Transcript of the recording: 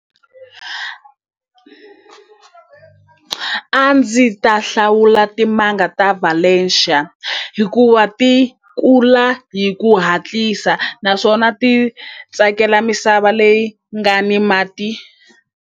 A ndzi ta hlawula timanga ta valencia hikuva ti kula hi ku hatlisa naswona ti tsakela misava leyi nga ni mati.